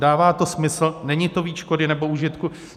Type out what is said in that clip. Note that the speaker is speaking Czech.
Dává to smysl, není to víc škody než užitku?